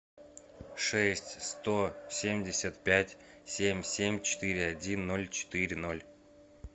шесть сто семьдесят пять семь семь четыре один ноль четыре ноль